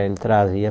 Ele trazia.